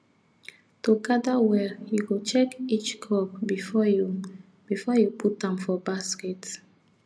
to gather well you go check each crop before you before you put am for basket